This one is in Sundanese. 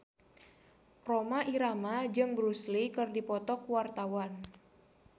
Rhoma Irama jeung Bruce Lee keur dipoto ku wartawan